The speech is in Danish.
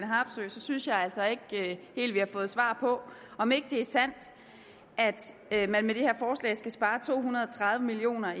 harpsøe synes jeg altså ikke helt vi har fået svar på om ikke det er sandt at man med det her forslag skal spare to hundrede og tredive millioner